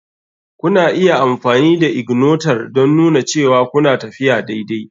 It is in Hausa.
Kuna iya amfani da ignator don nuna cewa kuna tafiya daidai.